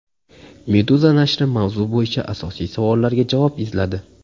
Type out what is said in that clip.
Meduza nashri mavzu bo‘yicha asosiy savollarga javob izladi .